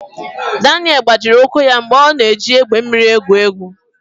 Daniel gbajiri ụkwụ ya mgbe ọ na-eji egbe mmiri egwu egwu.